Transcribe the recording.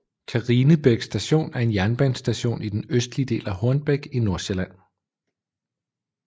Karinebæk Station er en jernbanestation i den østlige del af Hornbæk i Nordsjælland